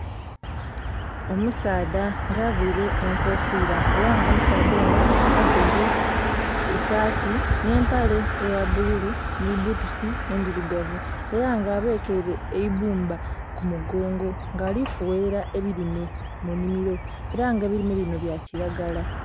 Omusaadha nga avaire enkofira era nga omusaadha ono avaire esaati n'empale eyabbululu ni bbutusi endhirugavu era nga abakaire eibbumba kumugongo nga alifuwerera ebirime munimiro era nga ebirime bino byakiragala.